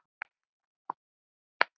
Össuri skákað fram.